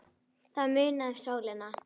Það munaði um sólina.